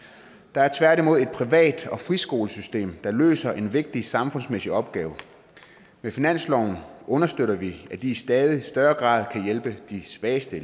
der er tværtimod et privat og friskolesystem som løser en vigtig samfundsmæssig opgave med finansloven understøtter vi at de i stadig større grad kan hjælpe de svageste